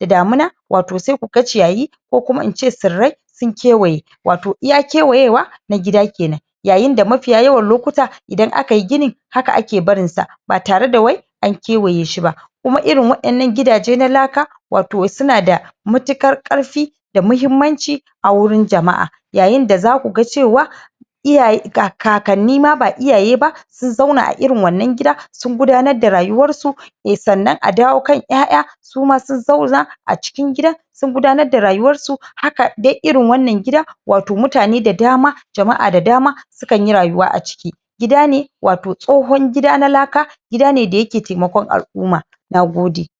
da damin wato sai ku ga ciyayi ko kuma ince tsirrai sun kewaye, wato iya kewayewa na gida ke nan. Yayin da mafiya yawan lokuta in aka yi gini haka ake barin sa ba tare da wai an kewaye shi ba. Kuma irin waƴannan gidaje na laka wato su na da matuƙar ƙarfi da muhimmanci a wurin jama'a. Yayin da za ku ga cewa iyaye kakanni ma ba iyaye ba sun zauna a irin wannan gida sun gudanar da rayuwar su ne sannan a dawo kan ƴaƴa suma sun zauna a cikin gidan sun gudanar da rayuwar. Haka dai irin wannan gida wato mutane da dama, jama'a da dama sukan yi rayuwa a ciki. Gida ne wato tsohon gida na laka, gida ne da ya ke taimakon al'umma. Nogode!